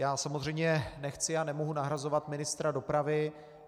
Já samozřejmě nechci a nemohu nahrazovat ministra dopravy.